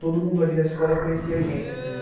Todo mundo ali na escola conhecia a gente de